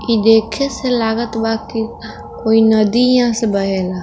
इ देखे से लगत बा की कोई नदी यहाँ से बहे ला